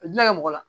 A dunna kɛ mɔgɔ la